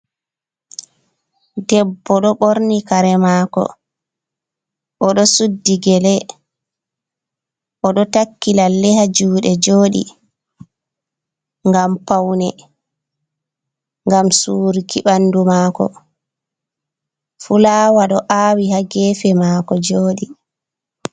Debbo ɗo ɓorni kare mako, o ɗo suddi gele, o ɗo takki lalle ha juɗe joɗi ngam paune, ngam surki ɓandu mako. Fulawa ɗo awi ha gefe mako joɗi.